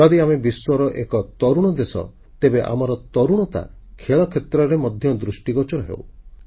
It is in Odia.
ଯଦି ଆମେ ବିଶ୍ୱର ଏକ ତରୁଣ ଦେଶ ତେବେ ଆମର ତରୁଣତା ଖେଳ କ୍ଷେତ୍ରରେ ମଧ୍ୟ ଦୃଷ୍ଟିଗୋଚର ହେଉ